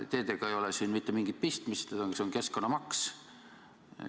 Teedega ei ole siin mitte mingit pistmist, see on keskkonnamaks.